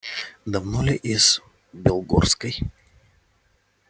давно ли из белогорской